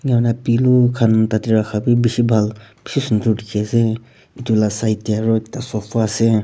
hoina pillow kan tate raka b bishi bhal bishi sundor diki ase etu la side de aro ekta sofa ase.